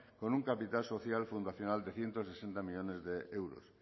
con un capital social fundacional de ciento sesenta millónes de euros